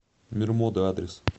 мир моды адрес